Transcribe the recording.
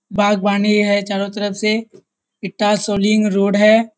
बागवानी है चारों तरफ से इट्टां शोलिंग रोड है।